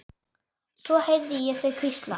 Svo heyrði ég þau hvísla.